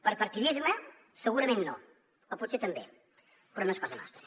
per partidisme segurament no o potser també però no és cosa nostra